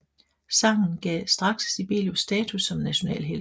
Sangen gav straks Sibelius status som nationalhelt